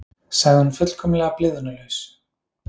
sagði hún fullkomlega blygðunarlaus.